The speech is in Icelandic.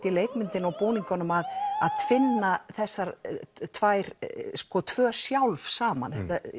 í leikmyndinni og búningunum að að tvinna þessar tvær tvö sjálf saman